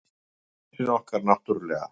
Prinsinn okkar, náttúrlega.